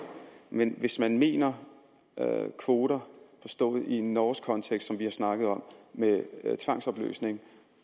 men hvis man mener kvoter forstået i en norsk kontekst som vi har snakket om med tvangsopløsning